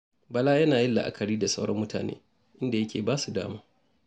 Bala yana yin la'akari da sauran mutane, inda yake ba su dama.